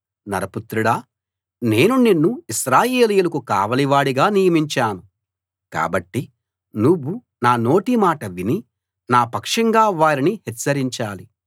నరపుత్రుడా నేను నిన్ను ఇశ్రాయేలీయులకు కావలివాడిగా నియమించాను కాబట్టి నువ్వు నా నోటి మాట విని నా పక్షంగా వారిని హెచ్చరించాలి